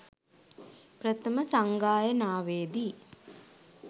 ප්‍රථම සංඝායනාවේදී